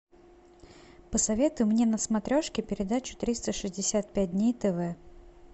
посоветуй мне на смотрешке передачу триста шестьдесят пять дней на тв